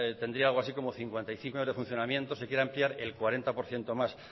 tendría algo así como cincuenta y cinco años de funcionamiento se quiere ampliar el cuarenta por ciento más